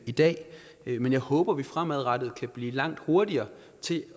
i dag men jeg håber at vi fremadrettet kan blive langt hurtigere til